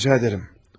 Yox, yox, rica edərəm.